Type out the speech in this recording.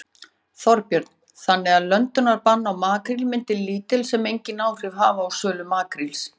Þorbjörn: Þannig að löndunarbann á makríl myndi lítil sem enginn áhrif hafa á sölu makríls?